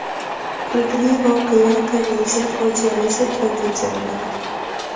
Kulgili voqea komediya, fojialisi tragediya bo‘ladi.